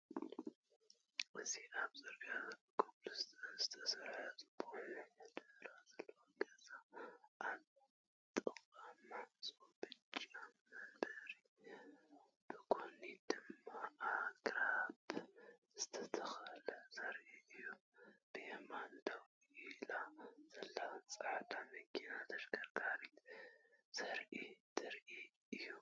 እዚ ኣብ ጽርግያ ብኮብልስቶን ዝተሰርሐ ጽቡቕ ምሕደራ ዘለዎ ገዛ፡ ኣብ ጥቓ ማዕጾ ብጫ መንበርን ብጎኒ ድማ ኣግራብ ዝተተኽለን ዘርኢ እዩ። ብየማን ደው ኢላ ዘላ ጻዕዳ መኪና ተሽከርካሪት ዘርኢ ትርኢት እዩ።